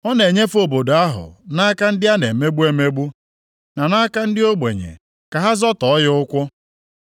Ọ na-enyefe obodo ahụ nʼaka ndị a na-emegbu emegbu, na nʼaka ndị ogbenye ka ha zọtọọ ya ụkwụ.